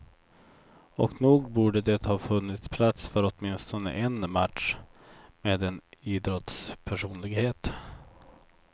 Och nog borde det ha funnits plats för åtminstone en match med en idrottspersonlighet.